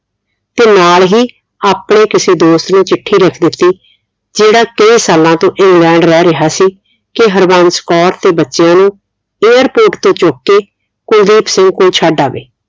ਤੇ ਨਾਲ ਹੀ ਆਪਣੇ ਕਿਸੇ ਦੋਸਤ ਨੂੰ ਚਿੱਠੀ ਲਿਖ ਦਿੱਤੀ ਜਿਹੜਾ ਕਈ ਸਾਲਾਂ ਤੋਂ ਇੰਗਲੈਂਡ ਰਹਿ ਰਿਹਾ ਸੀ ਕਿ ਹਰਬੰਸ ਕੌਰ ਤੇ ਬੱਚਿਆਂ ਨੂੰ airport ਤੋਂ ਚੁੱਕ ਕੇ ਕੁਲਦੀਪ ਸਿੰਘ ਕੋਲ ਛੱਡ ਆਵੇ